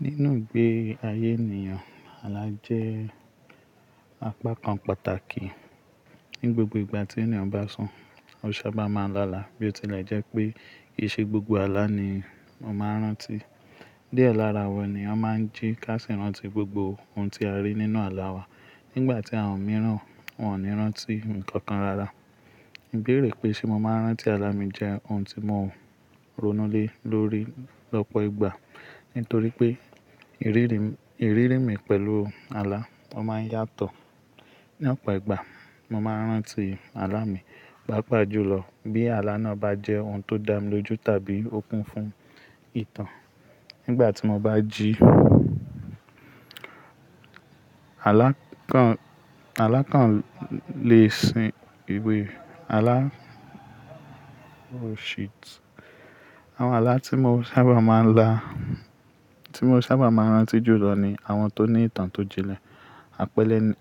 Nínú ìgbé ayé ènìyàn, àlá jẹ́ apá kan pàtàkì. Ni gbogbo ìgbà tí ènìyàn bá sùn, ó sábà máa ń láàlá bí ó tilẹ̀ jẹ́ pé kì í ṣe gbogbo àlá ni a máa ń rántí. Díẹ̀ lára wa ni a máa ń jí ká sì rántí gbogbo ohun tí a rí nínú àlá wa. Nígbà tí àwọn mìíràn wòn ní rántí ǹkan kan rara. Ìbéèrè pé ṣé mo máa ń rántí àlá mi jẹ́ ohun tí mo ronú lé lórí lọ́pọ̀ ìgbà. Nítorí pé ìrírí mi pẹ̀lú àlá máa ń yàtọ̀. Ní ọ̀pọ̀ ìgbà, mo máa ń rántí àlá mi pàápàá jù lọ bí àlá náà bá jẹ́ ohun tó dá mi lójú tàbí ó kún fún ìtàn. Nígbà tí mo bá jí alákàn lè sin ìwé. Àlá, oh shit. Àwọn àlá tí mo sábà máa ń rántí jù lọ ni àwọn tó ní ìtàn tó jinlẹ̀.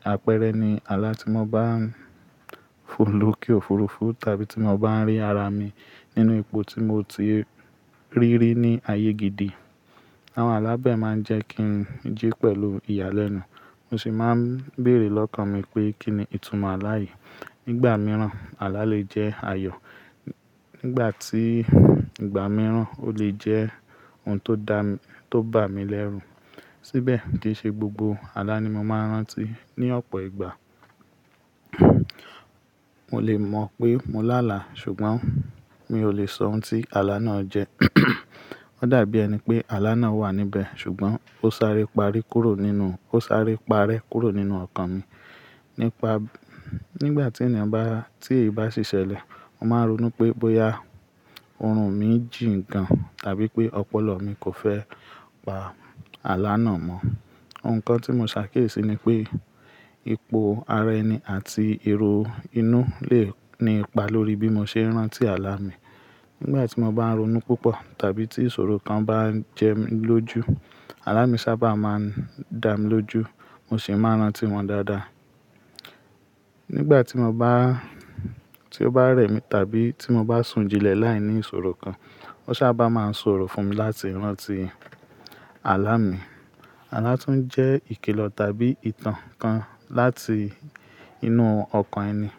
Àpẹ́ẹ́rẹ́ ni àlá tí mo bá ń fò lókè òfurufú tàbí tí mo bá ń rí ara mi nínú ipò tí mo ti rí rí ní ayé gidi. Àwọn àlá bẹ́ẹ̀ máa ń jẹ́ kí n jí pẹ̀lú ìyàlẹ́nu. Mo sì máa ń béèrè lọ́kàn mi pé kí ni ìtumọ̀ àlá yìí. Nígbà mìíràn, àlá lè jẹ́ ayọ̀. Nígbà tí ìgbà mìíràn ó lè jẹ́ ohun tó bà mí lẹ́run. Síbẹ̀ kì í ṣe gbogbo àlá ni mo máa ń rántí ní ọ̀pọ̀ ìgbà. Mo lè mọ̀ pé mo láàlá ṣùgbọ́n mi ò lè sọ ohun tí àlá náà jẹ́. Ó dàbí ẹni pé àlá náà wà níbẹ̀ ṣùgbọ́n ó sáré parè kúrò nínú ọkàn mi. Nígbà tí èyí bá ṣiṣẹ́lẹ̀, mo máa ronú pé bóyá orun mi jí gan tàbí pé ọpọlọ mi kò fẹ́ pa àlá náà mọ́. Ohun kan tí mo ṣàkíyèsí ni pé ipò ara ẹni àti èrò inú lè ní ipa lórí bí mo ṣe ń rántí àlá mi. Nígbà tí mo bá ń ronú púpọ̀ tàbí tí ìṣòro kan bá ń jẹ mí lójú, àlá mi sábà máa ń dá mi lójú mo sì máa ń rántí wọn dáadáa. Nígbà tí ó bá rẹ̀ mí tàbí tí mo bá sùn jinlẹ̀ láìní ìṣòro kan, ó sábà máa ń ṣòro fún mi láti rántí àlá mi. Àlá tún jẹ́ ìkílọ̀ tàbí ìtàn kan láti inú ọkàn ẹni.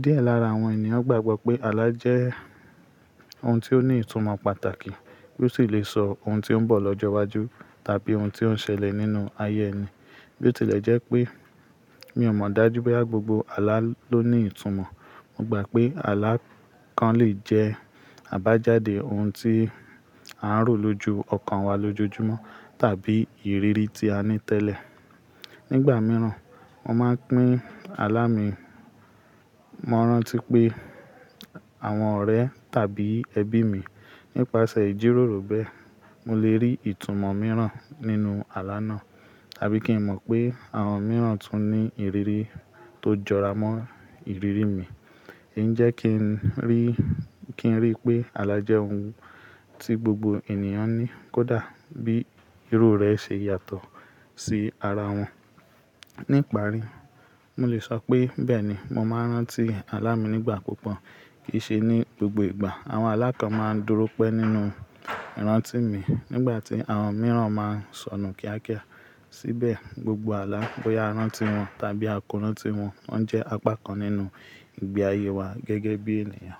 Díẹ̀ lára àwọn ènìyàn gbàgbọ́ pé àlá jẹ́ ohun tí ó ní ìtumọ̀ pàtàkì tí ó sì lè sọ ohun tí ń bọ̀ lọ́jọ́ iwájú tàbí ohun tí ó ń ṣẹlẹ̀ nínú ayé ẹni. Bí ó tilẹ̀ jẹ́ pé mi ò mọ̀ dájú bóyá gbogbo àlá ló ní ìtumọ̀. Mo gbà pé àlá kan lè jẹ́ àbájáde ohun tí a ń rò lójú ọkàn wa lójoojúmọ́ tàbí ìrírí tí a ní tẹ́lẹ̀. Nígbà mìíràn, mo máa ń pín àlá mi. Mo máa ń rántí pé àwọn ọ̀rẹ́ tàbí ẹbí mi. Nípasẹ̀ ìjíròrò bẹ́ẹ̀, mo lè rí ìtumọ̀ mìíràn nínú àlá náà tàbí kí n mọ̀ pé àwọn mìíràn tún ní ìrírí tó jọra mọ́ ìrírí mi. É jẹ́ kí n rí pé àlá jẹ́ ohun tí gbogbo ènìyàn ní kódà bí íru rẹ̀ ṣe yàtọ̀ sí ara wọn. Ní ìparí, mo lè sọ pé bẹ́ẹ̀ni mo máa ń rántí àlá mi nígbà púpọ̀ kì í ṣe ní gbogbo ìgbà. Àwọn alákàn máa ń dúró pẹ́ nínú ìrántí mi nígbà tí àwọn mìíràn máa ń sọnù kíákíá. Síbẹ̀ gbogbo àlá bóyá a rántí wọn tàbí a kórán tí wọn, wọ́n jẹ́ apá kan nínú ìgbé ayé wa gẹ́gẹ́ bí ènìyàn.